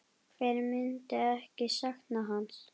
Hver myndi ekki sakna hans?